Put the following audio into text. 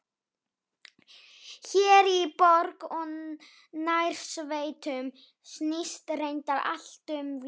Hér í borg og nærsveitum snýst reyndar allt um vín.